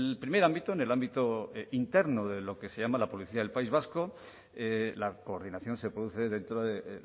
primer ámbito en el ámbito interno de lo que se llama la policía del país vasco la coordinación se produce dentro de